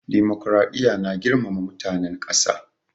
Dimokuraɗiya na girmama mutanen ƙasa.